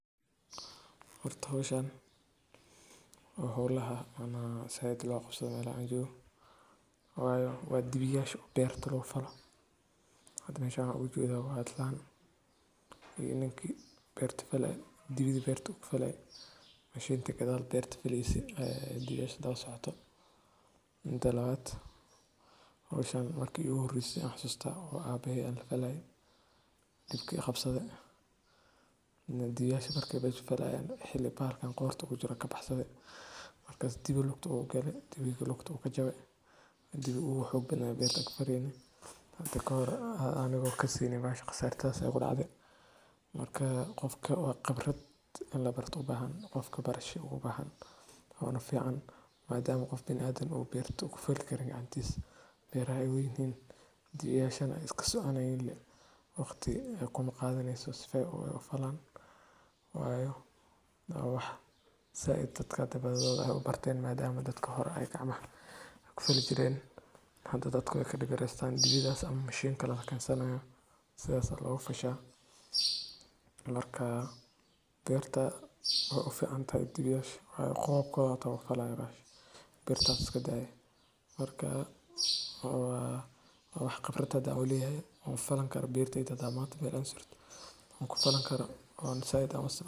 Horta howshan waa hoolaha ama said loogaqabsadho meesha aan joogo waayo waa dibiyaasha beerta lagufalo hada meeshan waxaan ugujeedha waa islaan iyo ninki beerta falaye dibiga beertu kufalaye mashinta gadhaal bera faleyse dibiyaasha daba socoto. Mida labaad howsha marki iguhireyse aan xasustaa oo abehey aan lafalaye dibki iqabsadhe. Dibiyaasha marka mesha falayen hilibaarkan qorta ugujiro kabaxsadhe dibiga lugtuu ugale dibiga lugtuu kajabe dubiga uu xoog badnaa bertaa aan kufaleyne hada kahor anii kaseynin bahasha qasaartadhas ayaa igudacde marka qofka waa qibradin labarto ubaahan qofka barasha ubaahan oona fiican madam qofka biniadamka uu berta uu kufali karin gacantis beeraha ey waweynihin dibiyaasha ey iskasoconayiin le waqti kumaqadhaneyso sifo ey ufalan wayo waa wax said dadka badhidhood ey ubarteen madama dadka horeey gacmah kufali jireen hada dadka wey kadib yareestan dibidha ama mashiin kale lakensanayo sidhaas ayaa loguufasha marka beerta wey ufciantahay dibiyaasha qoobka hata wey kufayan beerta birta hata iskadaye, marka waa wax qibrad hada uleyahay oon ufalan karo beerteyda hada manta beer aan surto oon kufalan karo.